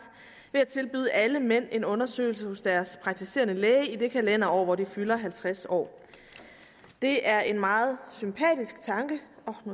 at tilbyde alle mænd en undersøgelse hos deres praktiserende læge i det kalenderår hvor de fylder halvtreds år det er en meget sympatisk tanke